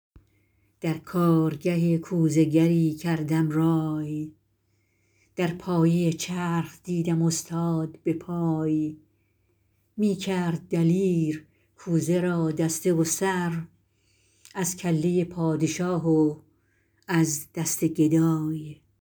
در کارگه کوزه گری کردم رای در پایه چرخ دیدم استاد به پای می کرد دلیر کوزه را دسته و سر از کله پادشاه و از دست گدای